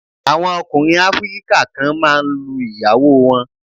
Àwọn ọkùnrin áfíríkà kan máa ń lu ìyàwó wọn.